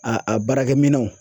A a baarakɛminɛnw